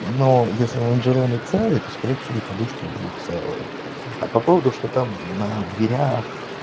но если лонжероны целые то скорее всего и подушки будут целые а по поводу что там на дверях